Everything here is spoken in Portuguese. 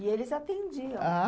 E eles atendiam. Ah...